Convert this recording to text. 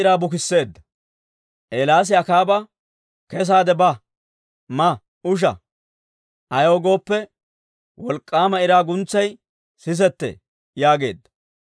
Eelaasi Akaaba, «Kessaade ba; ma usha. Ayaw gooppe, wolk'k'aama iraa guntsay sisetee» yaageedda.